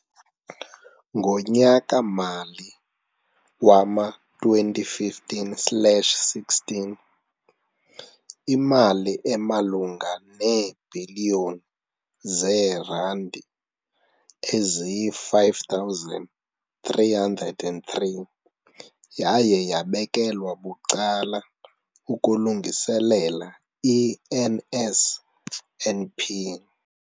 Ngonyaka-mali wama-2015 slash 16, imali emalunga neebhiliyoni zeerandi eziyi-5 303 yaye yabekelwa bucala ukulungiselela i-NSNP.